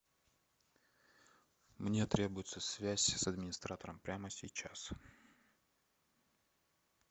мне требуется связь с администратором прямо сейчас